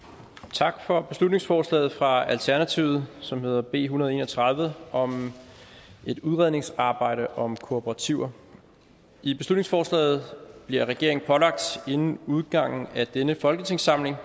tak for beslutningsforslaget fra alternativet som hedder b en hundrede og en og tredive om et udredningsarbejde om kooperativer i beslutningsforslaget bliver regeringen pålagt inden udgangen af denne folketingssamling